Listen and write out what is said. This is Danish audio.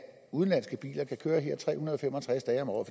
udenlandske biler kan køre her tre hundrede og fem og tres dage om året